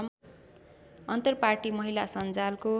अन्तरपार्टी महिला संजालको